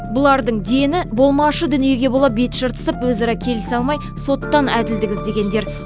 бұлардың дені болмашы дүниеге бола бет жыртысып өзара келісе алмай соттан әділдік іздегендер